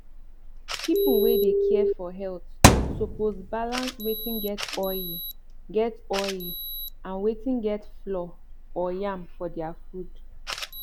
people wey dey care for health suppose balance wetin get oil get oil and wetin get flour or yam for their food